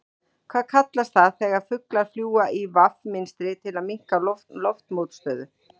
Hvað kallast það þegar fuglar fljúga í V mynstri til að minnka loftmótstöðu?